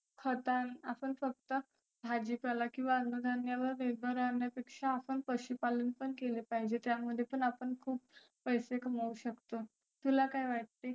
खतान आपण फक्त भाजी पाला किंवा अन्न धान्यावर निर्भर राहण्या पेक्षा आपण पशुपालन पण केलं पाहीजे त्यामध्ये पण आपण खुप पैसे कमऊ शकतो. तुला काय वाटते?